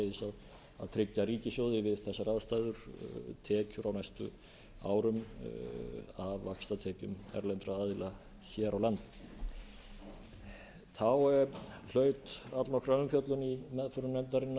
og sömuleiðis að tryggja ríkissjóði við þessar aðstæður tekjur á næstu árum af vaxtatekjum erlendra aðila hér á landi þá hlaut allnokkra umfjöllun í meðförum nefndarinnar